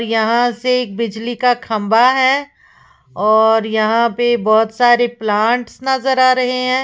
यहां से बिजली का खंबा है और यहां पर बहोत सारे प्लांट्स नजर आ रहे हैं।